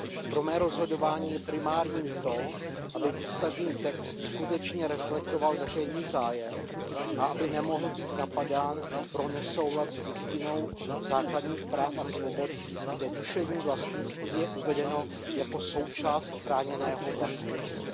Pro mé rozhodování je primární to, aby výsledný text skutečně reflektoval veřejný zájem a aby nemohl být napadán pro nesoulad s Listinou základních práv a svobod, kde duševní vlastnictví je uvedeno jako součást chráněného vlastnictví.